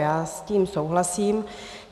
Já s tím souhlasím.